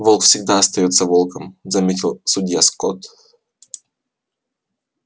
волк всегда останется волком заметил судья скотт